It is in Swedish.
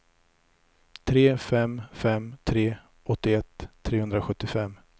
tre fem fem tre åttioett trehundrasjuttiofem